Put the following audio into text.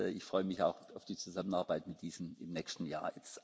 Ich freue mich auch auf die Zusammenarbeit mit diesen im nächsten Jahr.